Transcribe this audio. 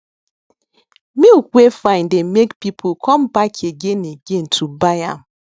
milk wey fine dey make people come back again again to buy am